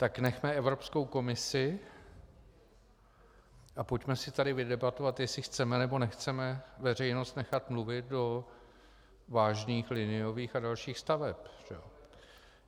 Tak nechme Evropskou komisi a pojďme si tady vydebatovat, jestli chceme, nebo nechceme veřejnost nechat mluvit do vážných liniových a dalších staveb.